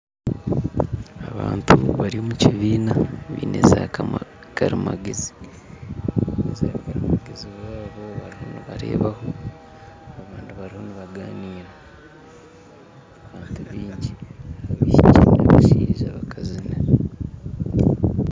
Abantu bari omu kibiina baine za karimagyezi zaabo bariyo nibareebaho abandi bariho nibaganiira n'abantu baingi harimu abaishiki, n'abashaija, n'abakazi